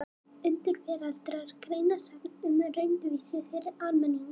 Undur veraldar: Greinasafn um raunvísindi fyrir almenning.